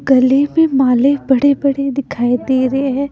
गले में माले बड़े-बड़े दिखाई दे रहे हैं।